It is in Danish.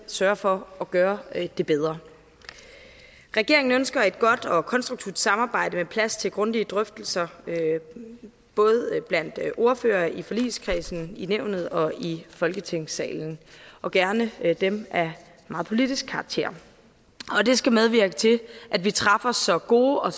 sørge for at gøre det bedre regeringen ønsker et godt og konstruktivt samarbejde med plads til grundige drøftelser både blandt ordførere i forligskredsen i nævnet og i folketingssalen og gerne dem af meget politisk karakter det skal medvirke til at vi træffer så gode og